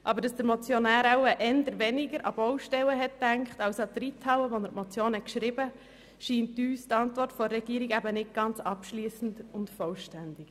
Aber weil der Motionär beim Schreiben der Motion wohl weniger an Baustellen als an die Reithalle gedacht hat, scheint uns die Regierungsantwort nicht ganz abschliessend und vollständig.